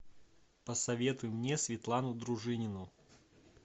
посоветуй мне светлану дружинину